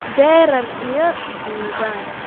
Dherer iyo dhuuban